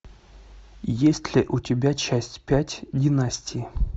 есть ли у тебя часть пять династии